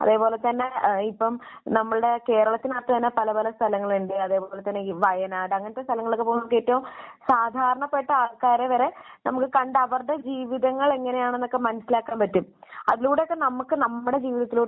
അതുപോലെ തന്നെ ഏഹ് ഇപ്പോൾ നമ്മളുടെ കേരളത്തിനകത്ത് തന്നെ പല പല സ്ഥലങ്ങളുണ്ട്. അത്‌പോലെ തന്നെ വയനാട്. അങ്ങനത്തെ സ്ഥലങ്ങളിലൊക്കെ പോകുമ്പോൾ ഏറ്റവും സാധാരണപ്പെട്ട ആൾക്കാർ വരെ നമുക്ക് കണ്ട് അവരുടെ ജീവിതങ്ങൾ എങ്ങനെയാണ് എന്നൊക്കെ മനസ്സിലാക്കാൻ പറ്റും. അതിലൂടെയൊക്കെ നമുക്ക് നമ്മുടെ ജീവിതത്തിലോട്ട്